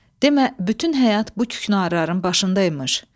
Demə bütün həyat bu küknarların başında imiş.